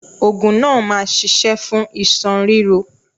Ògùn náà ma ṣiṣẹ́ fún iṣan ríro.